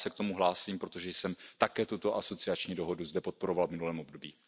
Já se k tomu hlásím, protože jsem také tuto asociační dohodu zde podporoval v minulém období.